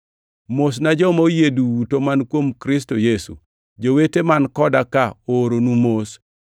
Mosna joma oyie duto man kuom Kristo Yesu. Jowete man koda ka ooronu mos.